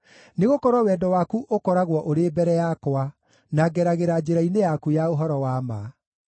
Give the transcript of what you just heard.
nĩgũkorwo wendo waku ũkoragwo ũrĩ mbere yakwa, na ngeragĩra njĩra-inĩ yaku ya ũhoro wa ma.